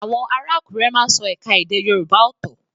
Àwọn ará Àkúrẹ́ má ń sọ ẹ̀ka èdè Yorùbá ọ́tọ́